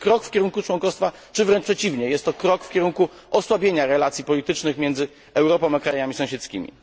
Czy to jest krok w kierunku członkostwa, czy wręcz przeciwnie jest to krok w kierunku osłabienia relacji politycznych między Europą a krajami sąsiedzkimi?